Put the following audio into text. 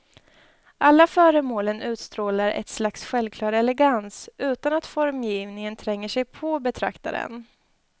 Alla föremålen utstrålar ett slags självklar elegans, utan att formgivningen tränger sig på betraktaren.